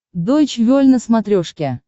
дойч вель на смотрешке